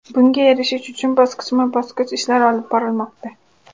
Bunga erishish uchun bosqichma-bosqich ishlar olib borilmoqda.